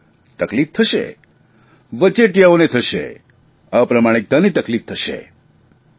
હા તકલીફ થશે વચટિયાઓને થશે અપ્રામાણિકને તકલીફ થશે